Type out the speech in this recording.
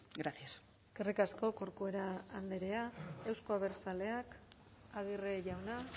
gracias eskerrik asko corcuera andrea euzko abertzaleak aguirre jauna